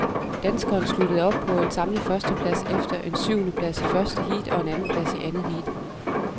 Danskeren sluttede på en samlet førsteplads efter en syvendeplads i første heat og en andenplads i andet heat.